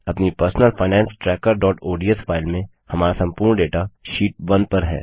अपनी personal finance trackerओडीएस file में हमारा संपूर्ण डेटा शीट 1 पर है